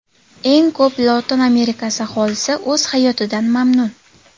Eng ko‘p Lotin Amerikasi aholisi o‘z hayotidan mamnun.